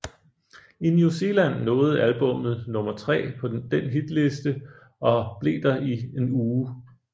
I New Zealand nåede albummet nummer tre på den hitliste og blev der i en uge